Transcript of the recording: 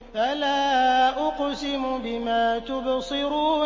فَلَا أُقْسِمُ بِمَا تُبْصِرُونَ